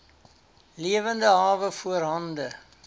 lewende hawe voorhande